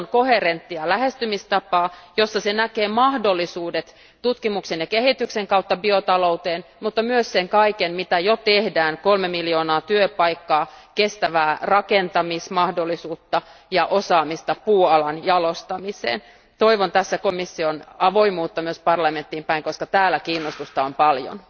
Toivon koherenttia lähestymistapaa, jossa komissio näkee mahdollisuudet tutkimuksen ja kehityksen kautta biotalouteen, ja myös sen kaiken, mitä jo tehdään kolme miljoonaa työpaikkaa, kestävää rakentamismahdollisuutta ja osaamista puualan jalostamiseen. Toivon tässä asiassa komission avoimuutta myös parlamenttiin päin, koska täällä kiinnostusta on paljon.